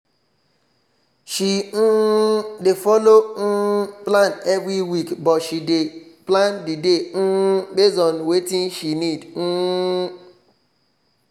she um dey follow um plan every week but she dey plan the day um base on watin she need